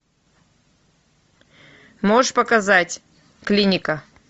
можешь показать клиника